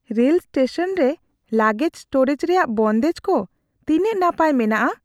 Rail station ᱨᱮ luggage storage ᱨᱮᱭᱟᱜ ᱵᱚᱱᱫᱮᱡ ᱠᱚ ᱛᱤᱱᱟᱹᱜ ᱱᱟᱯᱟᱭ ᱢᱮᱱᱟᱜᱼᱟ?